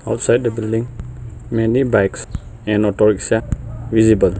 Outside the building many bikes and autorikshaw visible.